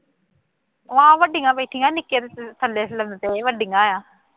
ਹਾਂ ਵੱਡੀਆਂ ਬੈਠੀਆਂ ਨਿੱਕੇ ਤਾਂ ਥੱਲੇ ਲੰਮੇ ਪਏ ਹੋਏ ਵੱਡੀਆਂ ਐਂ